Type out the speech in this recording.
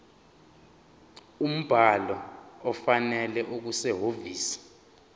umbhalo ofanele okusehhovisi